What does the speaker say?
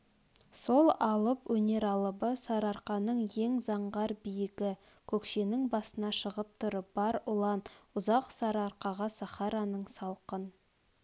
сол алып өнер алыбы сарыарқаның ең заңғар биігі көкшенің басына шығып тұрып бар ұлан ұзақ сарыарқаға сахараның салқын